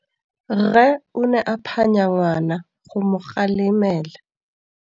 Rre o ne a phanya ngwana go mo galemela.